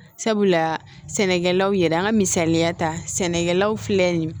Sabula sɛnɛkɛlaw yɛrɛ an ka misaliya ta sɛnɛkɛlaw filɛ nin ye